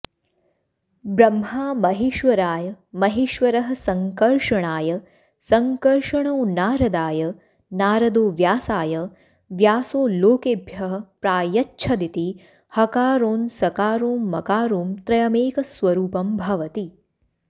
ब्रह्मा महेश्वराय महेश्वरः संकर्षणाय संकर्षणो नारदाय नारदो व्यासाय व्यासो लोकेभ्यः प्रायच्छदिति हकारोंसकारोमकारों त्रयमेकस्वरूपं भवति